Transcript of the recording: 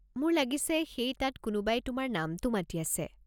মোৰ লাগিছে সেই তাত কোনোবাই তোমাৰ নামটো মাতি আছে।